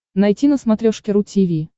найти на смотрешке ру ти ви